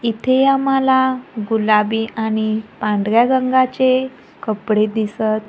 इथे आम्हाला गुलाबी आणि पांढऱ्या रंगाचे कपडे दिसतं--